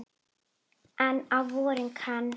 En á vorin kann